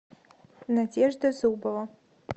надежда зубова